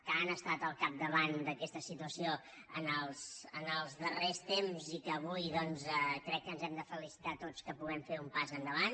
que han estat al capdavant d’aquesta situació en els darrers temps i que avui doncs crec que ens hem de felicitar tots que puguem fer un pas endavant